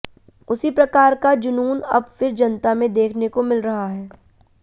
उसी प्रकार का जूनून अब फिर जनता में देखने को मिल रहा है